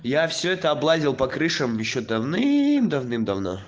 я всё это облазил по крышам ещё давным давным-давным давно